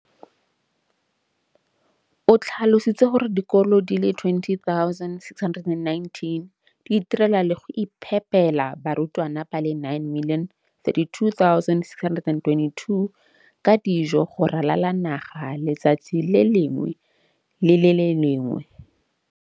O tlhalositse gore dikolo di le 20 619 di itirela le go iphepela barutwana ba le 9 032 622 ka dijo go ralala naga letsatsi le lengwe le le lengwe.